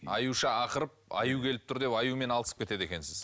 аюша ақырып аю келіп тұр деп аюмен алысып кетеді екенсіз